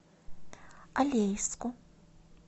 алейску